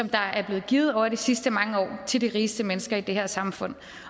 der er blevet givet over de sidste mange år til de rigeste mennesker i det her samfund